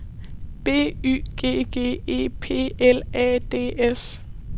B Y G G E P L A D S